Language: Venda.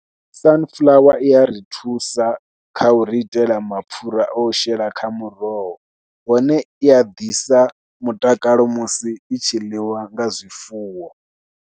Sunflower i ya ri thusa kha u ri itela mapfhura a u shela kha muroho hone i a ḓisa mutakalo musi i tshi ḽiwa nga zwifuwo.